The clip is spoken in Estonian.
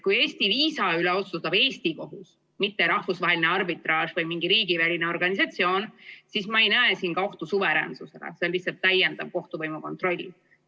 Kui Eesti viisa üle otsustab Eesti kohus, mitte rahvusvaheline arbitraaž või mingi riigiväline organisatsioon, siis ma ei näe siin ka ohtu suveräänsusele, see on lihtsalt täiendav kohtuvõimu kontroll.